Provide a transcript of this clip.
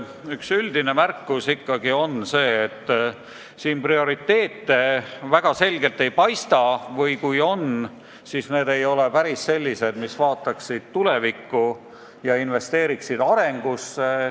Üks üldine märkus on see, et prioriteete väga selgelt ei paista või kui need on, siis mitte päris sellised, mis vaataksid hariduse ja majanduse arengusse investeerides tulevikku.